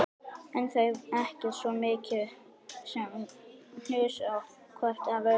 En þau ekki svo mikið sem hnusuðu hvort af öðru.